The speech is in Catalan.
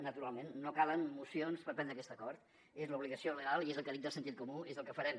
naturalment no calen mocions per prendre aquest acord és l’obligació legal i és el que dicta el sentit comú és el que farem